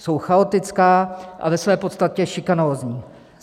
Jsou chaotická a ve své podstatě šikanózní.